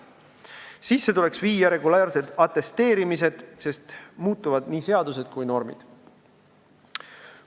Sisse tuleks viia regulaarsed atesteerimised, sest muutuvad nii seadused kui ka normid.